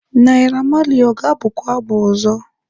Naira Marley ọ ga-abụ kwa abụ ọzọ?